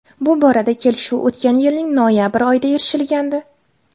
Bu borada kelishuv o‘tgan yilning noyabr oyida erishilgandi .